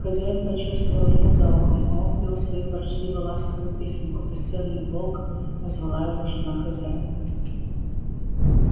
хозяин почёсывал ему за ухом а он пел свою ворчливо ласковую песенку бесценный волк назвала его жена хозяина